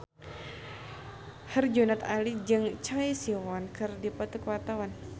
Herjunot Ali jeung Choi Siwon keur dipoto ku wartawan